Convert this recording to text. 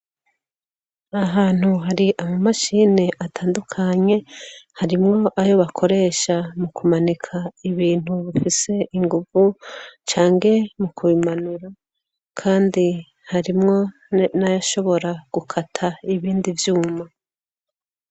Ahantu hari amamashini atandukanye, harimwo ayo bakoresha mu kumanika ibintu bifise inguvu cange mu kubimanura; kandi harimwo nayashobora gukata ibindi vyuma.